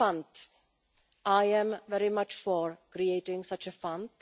The fund I am very much for creating such a fund.